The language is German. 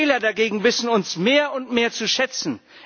Die Wähler dagegen, wissen uns mehr und mehr zu schätzen.